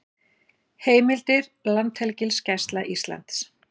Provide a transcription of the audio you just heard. Heimildir Landhelgisgæsla Íslands